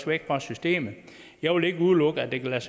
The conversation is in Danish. væk fra systemet jeg vil ikke udelukke at det kan lade